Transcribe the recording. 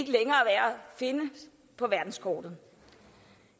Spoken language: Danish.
finde på verdenskortet